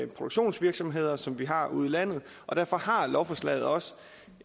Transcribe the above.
produktionsvirksomheder som vi har ude i landet og derfor har lovforslaget også